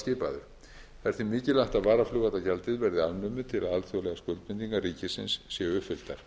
skipaður er því mikilvægt að varaflugvallagjaldið verði afnumið til að alþjóðlegar skuldbindingar ríkisins séu uppfylltar